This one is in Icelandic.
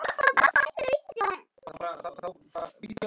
Svo hverfur hann fyrir hornið.